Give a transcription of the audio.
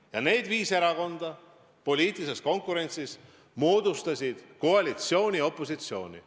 Ja need viis erakonda moodustasid poliitilises konkurentsis koalitsiooni ja opositsiooni.